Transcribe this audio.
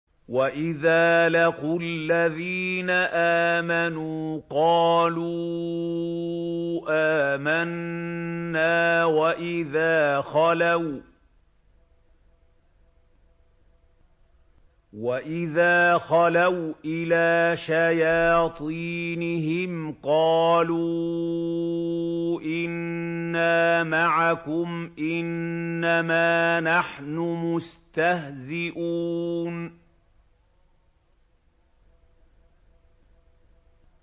وَإِذَا لَقُوا الَّذِينَ آمَنُوا قَالُوا آمَنَّا وَإِذَا خَلَوْا إِلَىٰ شَيَاطِينِهِمْ قَالُوا إِنَّا مَعَكُمْ إِنَّمَا نَحْنُ مُسْتَهْزِئُونَ